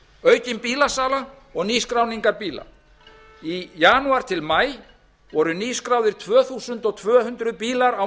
aukin bílasala og nýskráningar bíla í janúar til maí voru nýskráðir tvö þúsund tvö hundruð bílar á